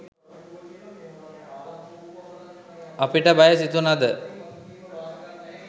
අපිට බය සිතුනද